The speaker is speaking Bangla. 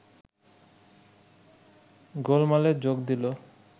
গোলমালে যোগ দিল